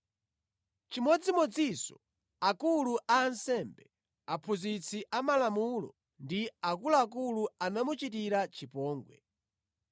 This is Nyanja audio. Chimodzimodzinso akulu a ansembe, aphunzitsi amalamulo ndi akuluakulu anamuchitira chipongwe.